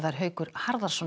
Haukur Harðarson